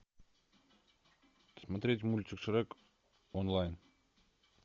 смотреть мультик шрек онлайн